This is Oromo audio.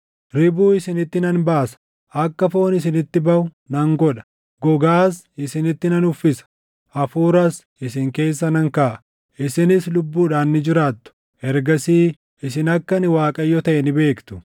Ribuu isinitti nan baasa; akka foon isinitti baʼu nan godha; gogaas isinitti nan uffisa; hafuuras isin keessa nan kaaʼa; isinis lubbuudhaan ni jiraattu. Ergasii isin akka ani Waaqayyo taʼe ni beektu.’ ”